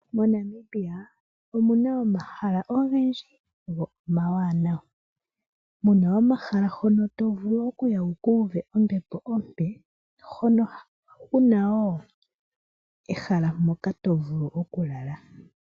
Monale omuna omahala ogendji go omawanawa muna omahala hono tovulu wuka uve ombepo ompe hono kuna woo ehalao moka tovulu okulala.